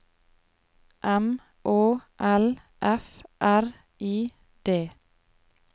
M Å L F R I D